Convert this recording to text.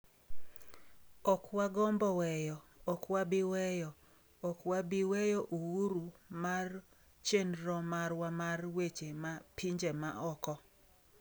"""Ok wagombo weyo, ok wabi weyo, ok wabiweyo uhuru mar chenro marwa mar weche ma pinje ma oko."""